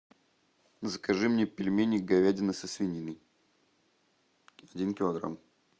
закажи мне пельмени говядина со свининой один килограмм